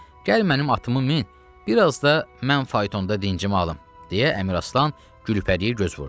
gəl mənim atımı min, bir az da mən faytonda dincimi alım, - deyə Əmiraslan Gülpəriyə göz vurdu.